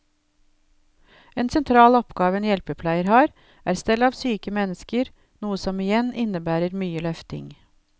En sentral oppgave en hjelpepleier har, er stell av syke mennesker, noe som igjen innebærer mye løfting.